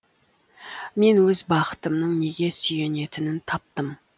мен өз бақытымның неге сүйенетінін таптым